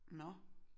Nåh